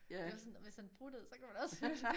Det var sådan hvis man pruttede så kunne man også høre det